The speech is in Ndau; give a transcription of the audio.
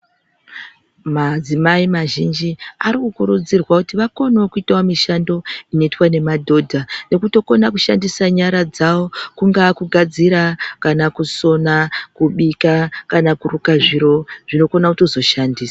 Madzimai mazhinji ari kukurudzirwa kuti vakone kuitawo mishando inoitwa nemadhodha nekutokona kushandisa nyara dzawo kungaa kugadzira kana kusona kubika kana kuruka zviro zvinokona kuzotoshandiswa .